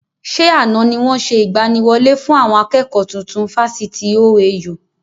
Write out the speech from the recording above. Ṣé àna ni wọn ṣe ìgbàníwọlé fún àwọn akẹ́kọ̀ tuntun Fásitì OAU?